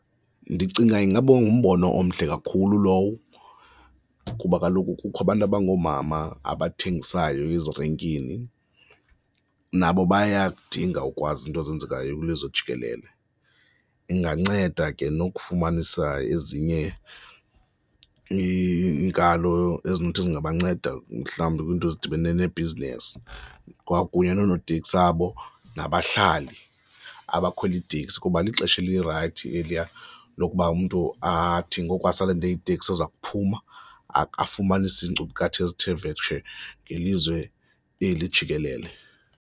Ndicinga ingaba ngumbono omhle kakhulu lowo kuba kaloku kukho abantu abangoomama abathengisayo ezirenkini, nabo bayakudinga ukwazi iinto ezenzekayo kwilizwe jikelele. Inganceda ke nokufumanisa ezinye iinkalo ezinothi zingabanceda mhlawumbi kwiinto ezidibene nebhizinisi kwakunye noonoteksi abo nabahlali abakhwela iiteksi kuba lixesha elirayithi eliya lokuba umntu athi ngoku asalinde iteksi eza kuphuma, afumanise iinkcukacha ezithe vetshe ngelizwe eli jikelele.